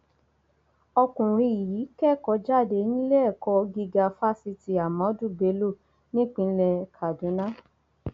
ọkùnrin yìí kẹkọọ jáde níléẹkọ gíga fáṣítì ahmadu bello nípínlẹ kaduna